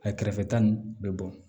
A kɛrɛfɛta ninnu bɛ bɔn